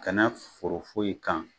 Kana foro foyi ye kan